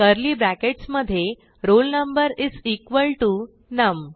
curly brackets मधे roll number is equal to नम